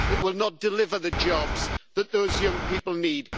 It will not deliver the jobs that those young people need.